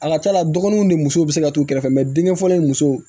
A ka ca la dɔgɔnunw de musow be se ka t'u kɛrɛfɛ mɛ denkɛ fɔlɔ ye musow